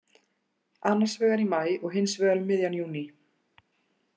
Annarsvegar í maí og hinsvegar um miðjan júní.